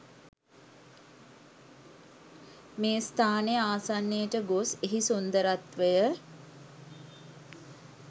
මේ ස්ථානය ආසන්නයට ගොස් එහි සුන්දරත්වය